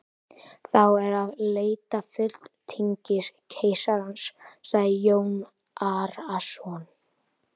Þá er að leita fulltingis keisarans, sagði Jón Arason.